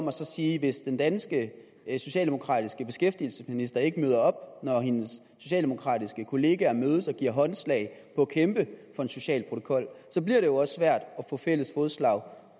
og sige hvis den danske socialdemokratiske beskæftigelsesminister ikke møder op når hendes socialdemokratiske kollegaer mødes og giver håndslag på at kæmpe for en social protokol så bliver det jo også svært at få fælles fodslag